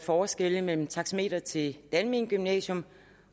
forskelle mellem taxameteret til det almene gymnasium